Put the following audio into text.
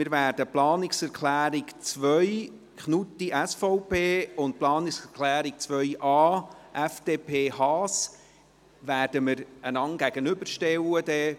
Wir werden die Planungserklärung 2, Knutti/SVP und die Planungserklärung 2.a, FDP/Haas bei der Abstimmung einander gegenüberstellen – einfach, damit Sie dies schon wissen.